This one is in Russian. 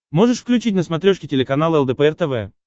можешь включить на смотрешке телеканал лдпр тв